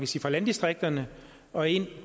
sige landdistrikterne og ind